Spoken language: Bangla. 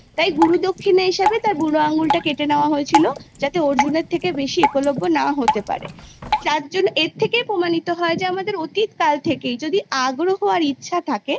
তাই গুরুদক্ষিণা হিসাবে তার বুড়ো আঙ্গুলটা কেটে নেওয়া হয়েছিল যাতে অর্জুনের থেকে বেশি একলব্য না হতে পারে যার জন্য এর থেকেই প্রমাণিত হয় যে আমাদের অতীতকাল থেকেই যদি আগ্রহ আর ইচ্ছা থাকে